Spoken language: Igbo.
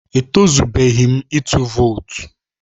E tọzubeghi m ịtụ vootu